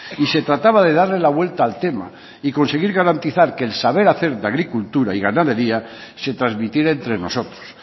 y se trataba de darle la vuelta al tema y conseguir garantizar que el saber hacer la agricultura y ganadería se transmitiera entre nosotros